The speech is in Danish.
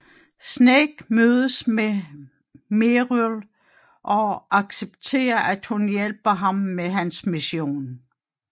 Snake mødes med Meryl og accepterer at hun hjælper ham med hans mission